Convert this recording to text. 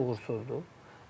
Bəli uğursuzdur.